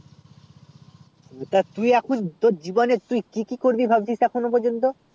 অতটা তুই এখন তোর জীবনে তুই কি কি করবি ভাবছিস এখনো প্রজন্ত